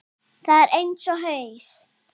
Það er eins og haus